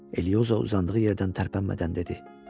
Elioza uzandığı yerdən tərpənmədən dedi.